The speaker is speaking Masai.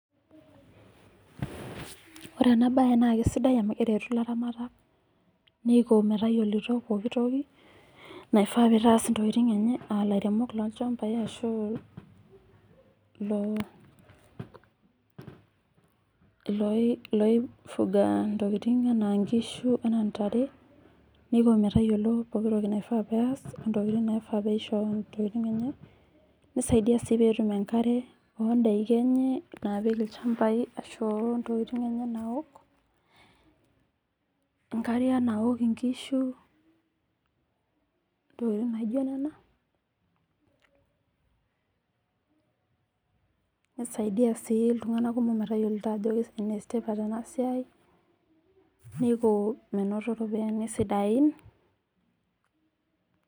Ore ena bae naa kesidai amuu eretu ilaraat, neiko metayolito pooko toki, naifaa pee itaas intokiting' enye aa ilairemok loolchambai ashu ilo, iloi fuga intoki enaa inkishu, enaa intare, neiko metayolo intokin pookin nifaa peas, ntokitin naifa peisho intokitin enye, nisaidia sii pee etum enkare oondaiki enye naapik ilchambai ashu aaa intokin enye naaok, inakariak naok inkishu, intokitin naijo nena, nisaidia sii iltung'ana kumok metayolito ajo enetipat ena siai, neiko menoto iropiyani sidain.